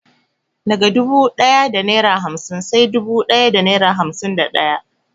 Daga dubu da naira hamsin sai dubu da naira hamsin da daya.